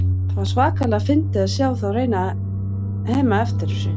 Það var svakalega fyndið að sjá þá reyna að hema eftir þessu.